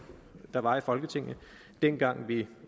der var i folketinget dengang vi